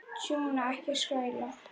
Tjúna, ekki skræla.